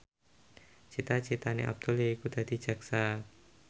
cita citane Abdul yaiku dadi jaksa